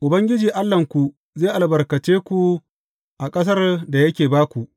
Ubangiji Allahnku zai albarkace ku a ƙasar da yake ba ku.